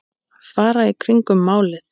Fara í kringum málið?